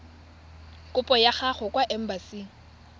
kopo ya gago kwa embasing